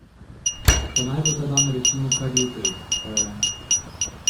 Pa naj bo ta dan recimo kar jutri, ko je ...